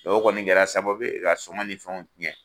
o kɔni kɛra sababu ka sɔngɔ ni fɛnw tiɲɛ